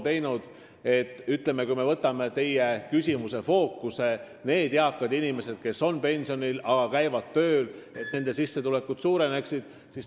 Mida veel on praegune koalitsioon teinud nende eakate inimeste, kes on pensionil, aga käivad tööl, sissetulekute suurendamiseks?